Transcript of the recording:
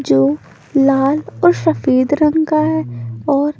जो लाल और सफेद रंग का है और--